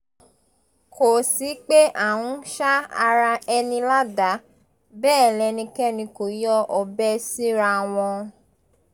kò sí pé à ń sa ara ẹni ládàá bẹ́ẹ̀ lẹ́nikẹ́ni kò yọ ọbẹ̀ síra wọn